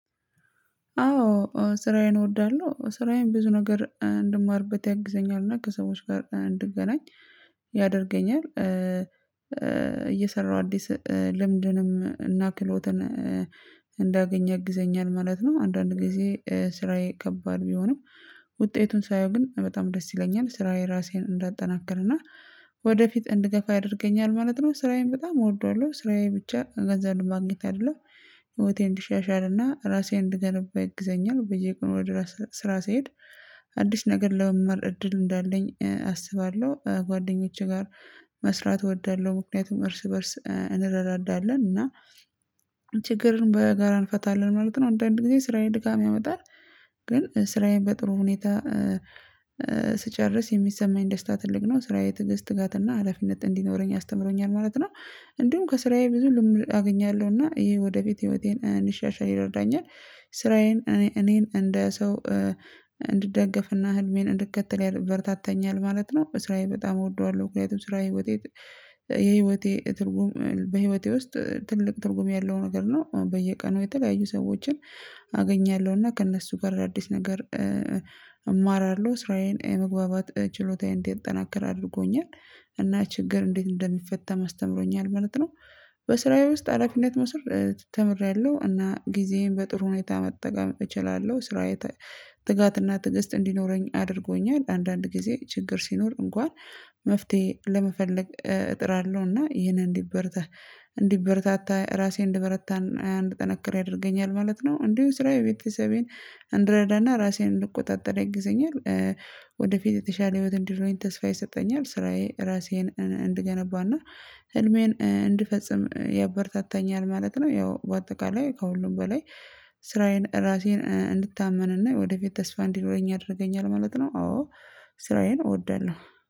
አዎ ስራዬን እወዳለሁ። ስራዬን ብዙ ነገር እንድማርበት ያግዘኛል። እና ከሰዎች ጋር እንድገናኝ ያደርገኛል። እየሰራሁ አዲስ ልምድንም እና ክሎትን እንዳገኝ ያግዘኛል ማለት ነው። አንዳንድ ጊዜ ስራዬ ከባድ ቢሆንም ውጤቱን ሳየው ግን በጣም ደስ ይለኛል። ስራዬ ራሴን እንዳጠናከርና ወደፊት እንድገፋ ያደርገኛል ማለት ነው። ስራዬን በጣም እወደዋለሁ። ስራዬ ብቻ ገንዘብ ለማግኘት አይደለም። ህይወቴ እንዲሻሻልና ራሴን እንድገነባ ያግዘኛል። በየቀኑ ወደ ስራ ስሄድ አዲስ ነገር ለመማር እድል እንዳለኝ አስባለሁ። ጓደኞቼ ጋር መስራት እወዳለሁ። ምክንያቱም እርስ በእርስ እንረዳዳለን። እና በጋራ እንፈታለን ማለት ነው። አንዳንዴ ጊዜ ስራዬን ድካም ያመጣል ግን ስራዬን በጥሩ ሁኔታ ስጨርስ የሚሰማኝ ደስታ ትልቅ ነው። ስራዬ ትዕግስት ትጋትና ሀላፊነት እንዲኖረኝ አስተምሮኛል ማለት ነው። እንዲሁም ከስራዬ ብዙ ልምድ አገኛለሁ። እና ይሄ ወደ ቤት ህይወቴን እንሻሻል ይረዳኛል። ስራዬን እኔ እኔን እንደ ሰው እንድደግፍና ህልሜን እንድከተል ያደርግ ያበረታታኛል ማለት ነው። በስራየ በጣም እወደዋለሁ። ምክንያቱም ስራዬ የህይወቴ ትርጉም በህይወቴ ውስጥ ትልቅ ትርጉም ያለው ነገር ነው። በየቀኑ የተለያዩ ሰዎችን አገኛለሁ። እና ከእነሱ ጋር አዳዲስ ነገር እማራለሁ። ስራዬን የመግባባት ችሎታዬን እንዲጠናከር አድርጎኛል። እና ችግር እንዴት እንደሚፈታም አስተምሮኛል ማለት ነው። በስራዬ ውስጥ ሀላፊነት መውሰድ ተምሬያለሁ። እና ጊዜዬን በጥሩ ሁኔታ መጠቀም እችላለሁ። ስራዬ ትጋትና ትዕግስት እንዲኖረኝ አድርጎኛል አንዳንድ ጊዜ ችግር ሲኖር እንኳን መፍትሄ ለመፈለግ እጥራለሁ። እና ይህንን እንዲበረታ እንዲበረታታ ራሴን እንደበረታና እንድጠነከር ያደርገኛል ማለት ነው። እንዲሁም ስራዬ ቤተሰቤን እንድረዳና ራሴን እንድቆጣጠር ያግዘኛል። ወደፊት የተሻለ ህይወት እንዲኖረኝ ተስፋ ይሰጠኛል። ስራዬ ራሴን እንድገነባና ህልሜን እንድፈጽም ያበርታታኛል ማለት ነው። ያው በአጠቃላይ ከሁሉም በላይ ስራዬን ራሴን እንድታመንና ወደ ፊት ተስፋ እንዲኖረኝ ያደርገኛል ማለት ነው። አዎ ስራዬን እወዳለሁ።